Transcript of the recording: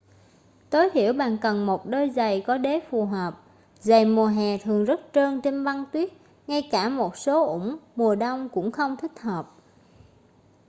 tối thiểu bạn cần một đôi giày có đế phù hợp giày mùa hè thường rất trơn trên băng tuyết ngay cả một số ủng mùa đông cũng không thích hợp